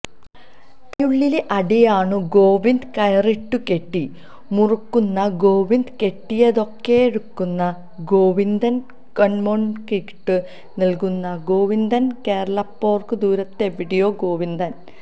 തടയുള്ളിലെ അടിയാണു ഗോവിന്ദന് കയറിട്ടു കെട്ടി മുറുക്കുന്നു ഗോവിന്ദന് കെട്ടിയതൊക്കെയറുക്കുന്നു ഗോവിന്ദന് കാണ്മോര്ക്കിരുട്ടത്തു നില്ക്കുന്നു ഗോവിന്ദന് കേള്പ്പോര്ക്കു ദൂരത്തെവിടെയോ ഗോവിന്ദന്